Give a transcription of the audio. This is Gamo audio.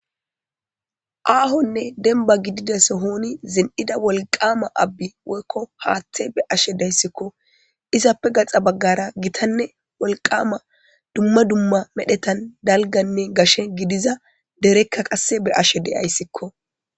Aahonne denba gidides hooni zin7ida wolqama abbi woykko haaththe be ashe deyssikko izappe gaxa baggara gitanne wolqama dumma dumma medhetan dalganne gashe gidiza derekka qasse be ashe deyayssikko.